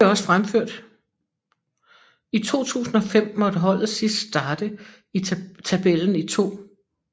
I 2005 måtte holdet sidst starte i tabellen i 2